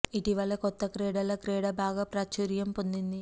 ఇటీవలే కొత్త క్రీడల క్రీడ బాగా ప్రాచుర్యం పొందింది